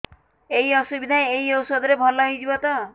ଏଇ ଅସୁବିଧା ଏଇ ଔଷଧ ରେ ଭଲ ହେଇଯିବ ତ